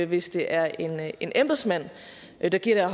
hvis det er en er en embedsmand der giver